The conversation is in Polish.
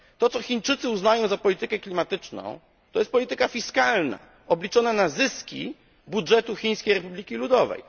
To, co Chińczycy uznają za politykę klimatyczną, to jest polityka fiskalna, obliczona na zyski dla budżetu Chińskiej Republiki Ludowej.